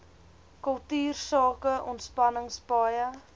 kultuursake ontspanning paaie